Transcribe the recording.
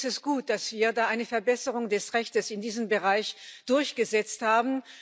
Deswegen ist es gut, dass wir da eine Verbesserung des Rechts in diesem Bereich durchgesetzt haben.